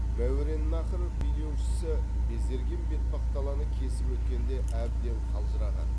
мәуереннаһр билеушісі безерген бетпақдаланы кесіп өткенде әбден қалжыраған